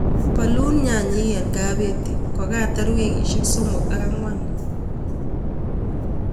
Bolun nyanyik en kabeti kokatar wikisiek somok ak ang'wan.